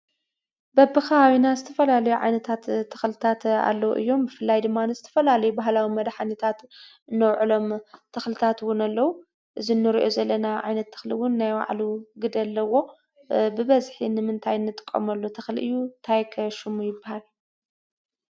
በብኸባብና ዝተፈላለዩ ዓይነታት ተኽልታት ኣለዉ እዮም፡፡ ብፍላይ ድማ ንዝተፈላለዩ ባህላዊ መድሓኒታት ነውዕሎም ተኽልታት እውን ኣለዉ፡፡ እዚ ንሪኦ ዘለና ዓይነት ተኽሊ እውን ናይ ባዕሉ ግደ ኣለዎ፡፡ ብበዝሒ ንምንታይ ንጥቀመሉ ተኽሊ እዩ? እንታይ ከ ሽሙ ይበሃል?